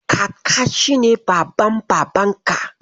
Kaka shi ne Baban Babanka.